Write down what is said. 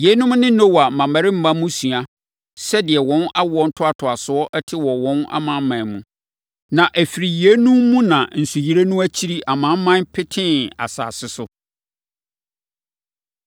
Yeinom ne Noa mmammarima mmusua, sɛdeɛ wɔn awoɔ ntoatoasoɔ te wɔ wɔn amanaman mu. Na ɛfiri yeinom mu na nsuyire no akyiri amanaman petee asase so.